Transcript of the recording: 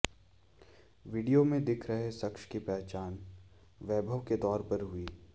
video में दिख रहे शख्स की पहचान वैभव के तौर पर हुई